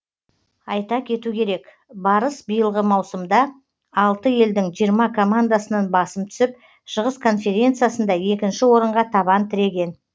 айта кету керек барыс биылғы маусымда алты елдің жиырма командасынан басым түсіп шығыс конференциясында екінші орынға табан тіреген